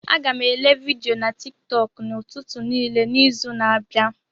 Aga m èlé vidiyo na tiktok n'ụtụtụ niile n'izu a na-abịa